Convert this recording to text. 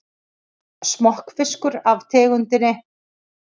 Smokkfiskur af tegundinni